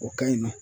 O ka ɲi nɔ